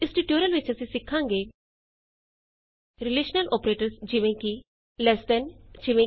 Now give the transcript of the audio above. ਇਸ ਟਯੂਟੋਰੀਅਲ ਵਿਚ ਅਸੀਂ ਸਿਖਾਂਗੇ ਰਿਲੇਸ਼ਨਲ ਅੋਪਰੇਟਰਸ ਜਿਵੇਂ ਕਿ ਲ਼ੇਸ ਦੇਨ 160 ਈਜੀ